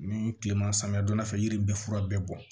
Ni kilema samiya donna fɛ yiri bɛ fura bɛɛ bɔ